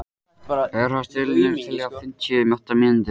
Bernharð, stilltu niðurteljara á fimmtíu og átta mínútur.